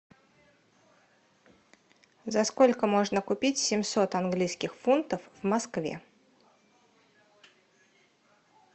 за сколько можно купить семьсот английских фунтов в москве